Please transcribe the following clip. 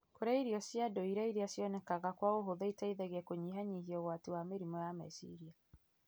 Kũrĩa irio cia ndũire iria cionekaga kwa ũhũthũ iteithagia kũnyihanyihia ũgwati wa mĩrimũ ya meciria.